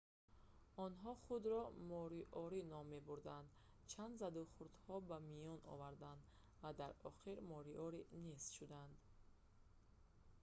онҳо худро мориори ном мебурданд чанд задухӯрдҳо ба миён омаданд ва дар охир мориори нест шуданд